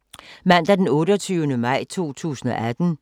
Mandag d. 28. maj 2018